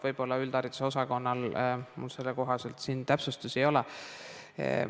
Võib-olla on üldhariduse osakonnal, kuid mul sellekohaseid täpsustusi siin ei ole.